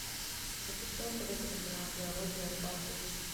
запусти на тв телеканал диалоги о рыбалке эйч ди